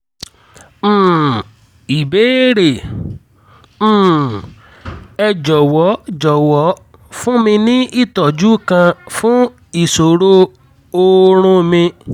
um ìbéèrè: um ẹ jọ̀wọ́ jọ̀wọ́ fún mi ní ìtọ́jú kan fún ìṣòro oorun mi